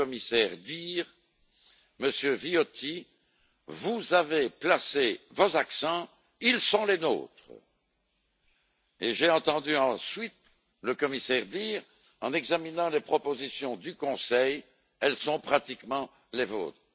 le commissaire dire Monsieur Viotti, vous avez placé vos accents, ils sont les nôtres, et j'ai entendu ensuite le commissaire dire, en examinant les propositions du Conseil, elles sont pratiquement les vôtres.